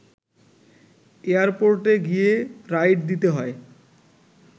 এয়ারপোর্টে গিয়ে রাইড দিতে হয়